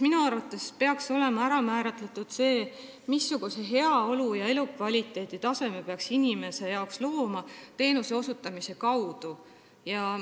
Minu arvates peaks olema kindlaks määratud see, missuguse heaolutaseme peaks inimesele teenuse osutamise kaudu looma.